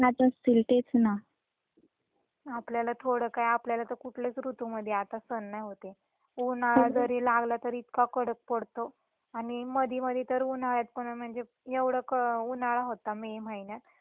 आपल्याला थोड काय आपल्याला तर कुठल्याच ऋतु मध्ये आता सहन नाही होत ए उन्हाळा जरी लागला तरी इतका कडक पडतो आणि मधी मधी तर उन्हाळ्यात पण म्हणजे एवढा उन्हाळा होता मे महिन्यात आणि मधीच पाऊस पडत होता.